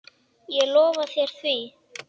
Ég lofa þér því.